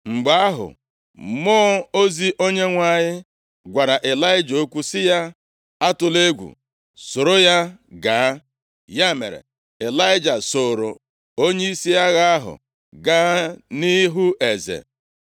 Mgbe ahụ, mmụọ ozi Onyenwe anyị gwara Ịlaịja okwu sị ya, “Atụla egwu! Soro ya gaa!” Ya mere, Ịlaịja sooro onyeisi agha ahụ gaa nʼihu eze.